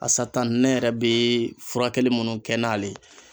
Asata ne yɛrɛ bee furakɛli munnu kɛ n'ale ye